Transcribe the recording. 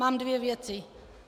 Mám dvě věci.